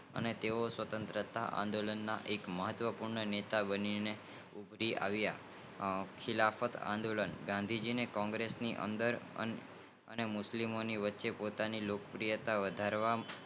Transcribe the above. તાઓ સ્વતંત્રતાના એક માત્ર જુના નેતા બની ગયા ખીલમત આંદોલન ગાંધી જી ને કોગ્રેસ્સ ને અંદર અને મુસ્લિમ ની વચ્ચે પોતાની લોગ પ્રિયતા વધારવા